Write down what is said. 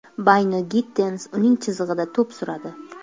Bayno-Gittens uning chizig‘ida to‘p suradi.